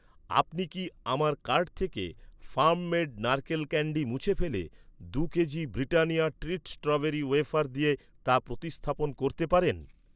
আপনি কি আমার কার্ট থেকে ফার্ম মেড নারকেল ক্যান্ডি মুছে ফেলে, দু'কেজি ব্রিটানিয়া ট্রিট স্ট্রবেরি ওয়েফার দিয়ে তা প্রতিস্থাপন করতে পারেন?